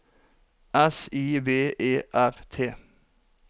S I V E R T